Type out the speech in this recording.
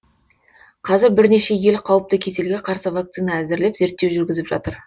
қазір бірнеше ел қауіпті кеселге қарсы вакцина әзірлеп зерттеу жүргізіп жатыр